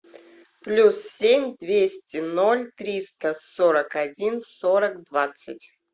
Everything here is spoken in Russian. плюс семь двести ноль триста сорок один сорок двадцать